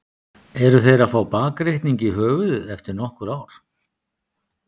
Eru þeir að fá bakreikning í höfuðið eftir nokkur ár?